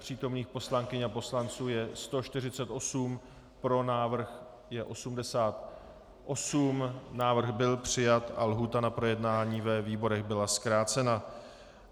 Přítomných poslankyň a poslanců je 148, pro návrh je 88, návrh byl přijat a lhůta na projednání ve výborech byla zkrácena.